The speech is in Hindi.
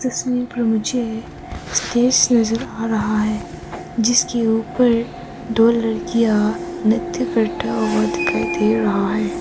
तस्वीर पर मुझे स्टेज नजर आ रहा है जिसके ऊपर दो लड़कियां नृत्य करता हुआ दिखाई दे रहा है।